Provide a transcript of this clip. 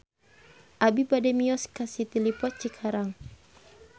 Abi bade mios ka City Lippo Cikarang